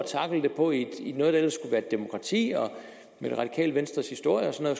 tackle det på i noget der ellers et demokrati og med det radikale venstres historie og sådan